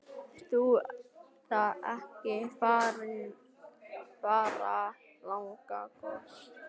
Eru það ekki fáránlega góð viðskipti?